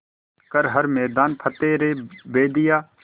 कर हर मैदान फ़तेह रे बंदेया